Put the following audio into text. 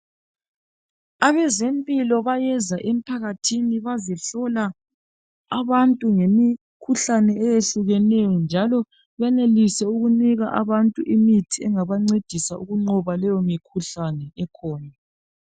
Abezempilo bayeza emphakathini bazehlola abantu ngemikhuhlane eyehlukeneyo njalo benelise ukunika abantu imithi engabancedisa ukunqoba leyomikhuhlane ekhona.